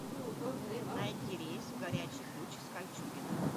найди рейс в горячий ключ из кольчугино